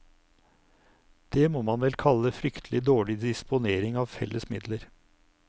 Det må man vel kalle fryktelig dårlig disponering av felles midler.